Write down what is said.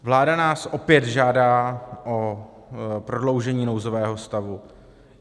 Vláda nás opět žádá o prodloužení nouzového stavu.